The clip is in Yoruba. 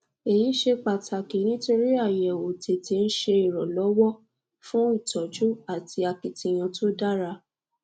eyi ṣe pataki nitori ayẹwo tete n ṣe iranlọwọ fun itọju ati akitiyan to dara